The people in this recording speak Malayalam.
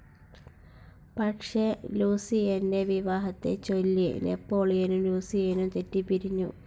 പക്ഷേ ലൂസിയന്റെ വിവാഹത്തെച്ചൊല്ലി നെപോളിയനും ലൂസിയനും തെറ്റിപ്പിരിഞ്ഞു.